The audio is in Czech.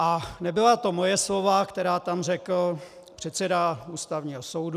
A nebyla to moje slova, která tam řekl předseda Ústavního soudu.